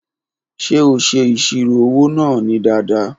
Ṣe o ṣe iṣiro owo naa ni dada?